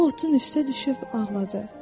O otun üstə düşüb ağladı.